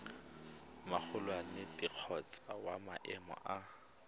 magolwane kgotsa wa maemo a